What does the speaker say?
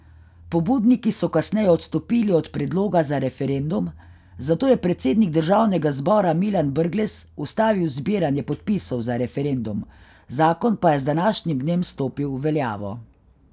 Pobudniki so kasneje odstopili od predloga za referendum, zato je predsednik državnega zbora Milan Brglez ustavil zbiranje podpisov za referendum, zakon pa je z današnjim dnem stopil v veljavo.